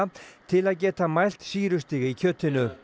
til að geta mælt sýrustig í kjötinu